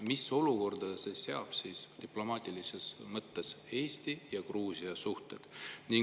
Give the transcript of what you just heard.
Mis olukorda see seab diplomaatilises mõttes Eesti ja Gruusia suhted?